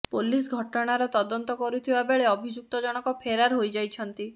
police ଘଟଣାର ତଦନ୍ତ କରୁଥିବା ବେଳେ ଅଭିଯୁକ୍ତଜଣଙ୍କ ଫେରାର ହୋଇଯାଇଛନ୍ତି